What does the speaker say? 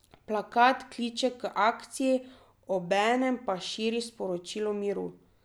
Plakat kliče k akciji, obenem pa širi sporočilo miru.